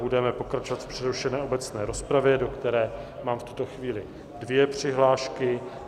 Budeme pokračovat v přerušené obecné rozpravě, do které mám v tuto chvíli dvě přihlášky.